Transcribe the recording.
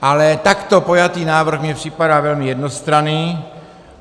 Ale takto pojatý návrh mi připadá velmi jednostranný.